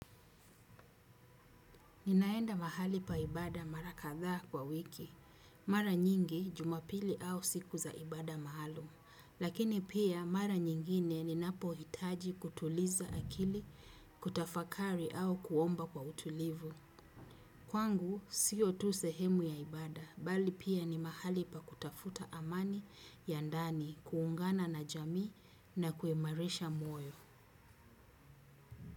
Ninaenda mahali pa ibada mara kathaa kwa wiki. Mara nyingi jumapili au siku za ibada maalum. Lakini pia mara nyingine ninapohitaji kutuliza akili, kutafakari au kuomba kwa utulivu. Kwangu, siyo tu sehemu ya ibada. Bali pia ni mahali pa kutafuta amani ya ndani, kuungana na jamii na kuimarisha moyo.